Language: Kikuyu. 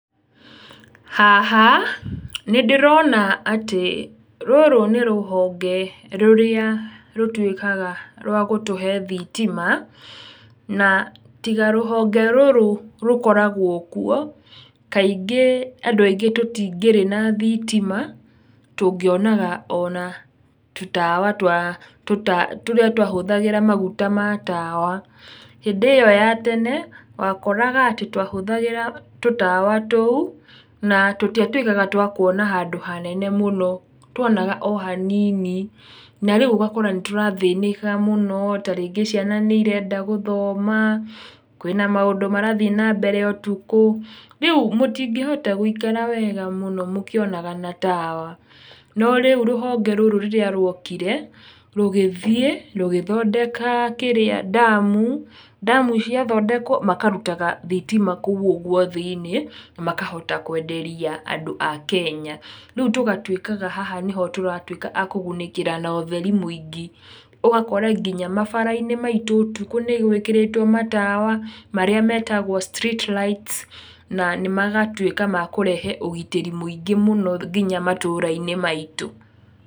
Haha, nĩ ndĩrona atĩ, rũrũ nĩ rũhonge rũrĩa rũtuĩkaga rwa gũtũhe thitima, na tiga rũhonge rũrũ rũkoragwo kuo, kaingĩ andũ aingĩ tũtingĩrĩ na thitima, tũngĩonaga ona tũtawa twa tũrĩa twahũthagĩra maguta matawa. Hĩndĩ ĩyo ya tene, wakoraga atĩ twahũthagĩra tũtawa tũu, na tũtiatuĩkaga twakuona handũ hanene mũno. Twonaga o hanini. Na rĩu ũgakora nĩtũrathĩnĩka mũno, tarĩngĩ ciana nĩirenda gũthoma, kwĩna maũndũ marathiĩ nambere ũtukũ, rĩu tũtingĩhota gũikara wega mũno mũkĩonaga na tawa. No rĩu rĩrĩa rũhonge rũrũ, ruokire, rũgĩthiĩ rũgĩthondeka kĩrĩa, ndamu, ndamu ciathondekwo makarutaga thitima kũu ũguo thĩinĩ, na makahota kwenderia andũ a Kenya. Rĩũ tũgatuĩkaga haha nĩho tũratuĩka a kũgunĩkĩra na ũtheri mũingĩ, ũgakora nginya mabarabara maitũ ũtukũ nĩ tũĩkĩrĩte matawa, marĩa metagwo street lights, nĩ magatuĩka makũrehe ũgitĩri mũingĩ mũno nginya matũra-inĩ maitũ.